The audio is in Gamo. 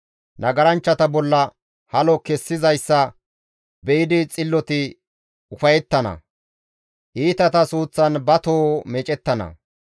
Nagaranchchata bolla halo kessizayssa be7idi xilloti ufayettana. Iitata suuththan ba toho meecettana.